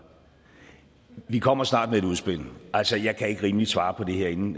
vi kommer snart med et udspil altså jeg kan ikke rimeligt svare på det her inden